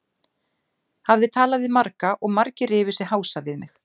Hafði talað við marga og margir rifu sig hása við mig.